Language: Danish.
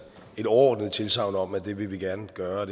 et overordnet tilsagn om at vi vi gerne vil gøre og